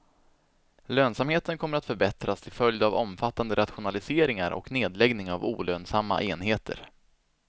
Lönsamheten kommer att förbättras till följd av omfattande rationaliseringar och nedläggning av olönsamma enheter.